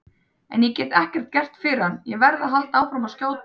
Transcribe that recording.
En ég get ekkert gert fyrir hann, verð að halda áfram að skjóta.